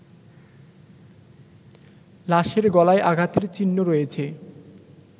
লাশেরগলায় আঘাতের চিহ্ন রয়েছে